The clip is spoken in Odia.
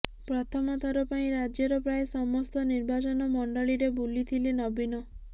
ପ୍ରଥମ ଥର ପାଇଁ ରାଜ୍ୟର ପ୍ରାୟ ସମସ୍ତ ନିର୍ବାଚନ ମଣ୍ଡଳୀରେ ବୁଲିଥିଲେ ନବୀନ